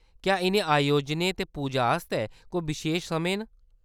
क्या इʼनें अयोजनें ते पूजाएं आस्तै कोई बशेश समें न ?